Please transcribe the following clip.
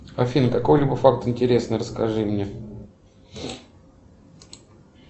афина какой либо факт интересный расскажи мне